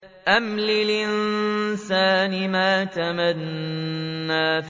أَمْ لِلْإِنسَانِ مَا تَمَنَّىٰ